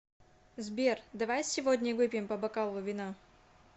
сбер давай сегодня выпьем по бокалу вина